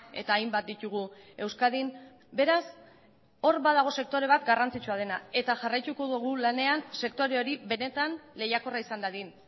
eta hainbat ditugu euskadin beraz hor badago sektore bat garrantzitsua dena eta jarraituko dugu lanean sektore hori benetan lehiakorra izan dadin